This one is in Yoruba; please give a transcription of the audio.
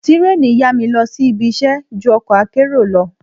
Tírèènì yá mi lọ sí ibiṣẹ́ ju ọkọ̀ akérò lọ.